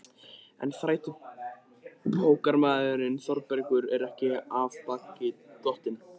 En þrætubókarmaðurinn Þórbergur er ekki af baki dottinn.